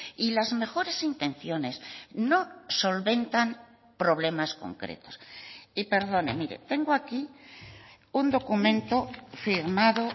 y las mejores intenciones no solventan problemas concretos y perdone mire tengo aquí un documento firmado